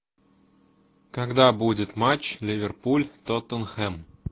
когда будет матч ливерпуль тоттенхэм